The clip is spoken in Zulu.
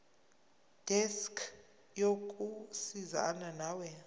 desk yokusizana nawe